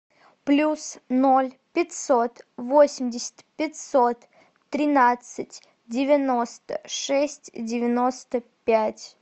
плюс ноль пятьсот восемьдесят пятьсот тринадцать девяносто шесть девяносто пять